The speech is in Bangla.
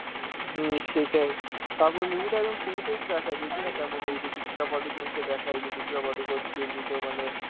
হম সেটাই, তারপর movie টা একদম শুরুতেই তো দেখায়, দেখবে না কেমন ওই যে দীপিকা পাডুকোন কে দেখায় যে দীপিকা পাডুকোন কি এমনি তো মানে